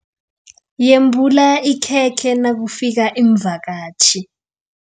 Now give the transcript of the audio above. Yembula ikhekhe nakufika iimvakatjhi.